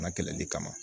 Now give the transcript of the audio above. Ma kɛlɛli kama